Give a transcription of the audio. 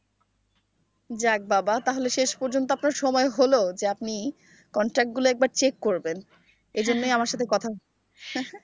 যাক বাবা তাহলে শেষ পর্যন্ত আপনার সময় হল যে, আপনি contact গুলো একবার check করবেন। এজন্যই আমার সাথে কথা